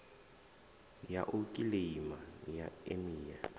ya u kiḽeima ya emia